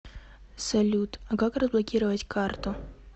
салют а как разблокировать карту